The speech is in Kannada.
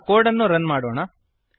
ಈಗ ಕೋಡ್ ಅನ್ನು ರನ್ ಮಾಡೋಣ